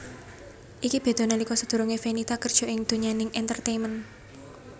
Iki beda nalika sadurungé Fenita kerja ing donyaning entertainment